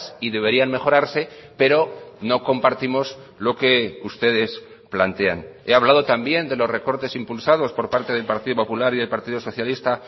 y deberían mejorarse pero no compartimos lo que ustedes plantean he hablado también de los recortes impulsados por parte del partido popular y del partido socialista